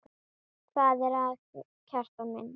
Hvað er að, Kjartan minn?